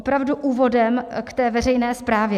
Opravdu úvodem k té veřejné správě.